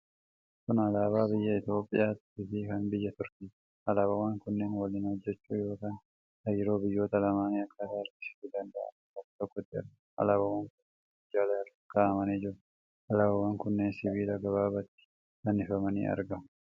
Kun alaabaa biyya Itoophiyaa fi kan biyya Turkiiti. Alaabawwan kunneen waliin hojjachuu yookiin hariiroo biyyoota lamaanii akkaataa agarsiisuu danda'aniin bakka tokkotti argamu. Alaabawwan kunneen minjaala irra kaa'amanii jiru. Alaabawwan kunneen sibiila gabaabaattti fannifamanii argamu.